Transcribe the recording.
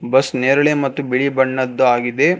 Bus ನೇರಳೆ ಮತ್ತು ಬಿಳಿ ಬಣ್ಣದ್ದು ಆಗಿದೆ.